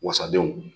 Wasadenw